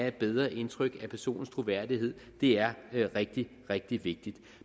et bedre indtryk af personens troværdighed er rigtig rigtig vigtigt